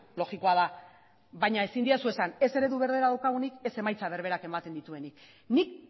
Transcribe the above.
logikoa da baina ezin didazu esan ez eredu berbera daukagunik ez emaitza berberak ematen dituenik nik